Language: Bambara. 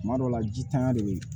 Tuma dɔw la jitanya de bɛ yen